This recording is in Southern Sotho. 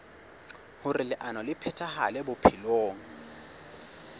hoer leano le phethahale bophelong